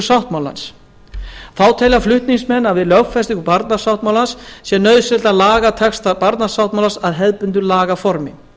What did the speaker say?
sáttmálans þá telja flutningsmenn að við lögfestingu barnasáttmálans sé nauðsynlegt að laga texta barnasáttmálans að hefðbundnu lagaformi